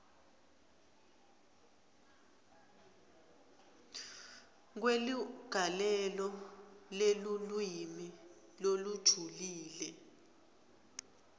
kweligalelo lelulwimi lolujulile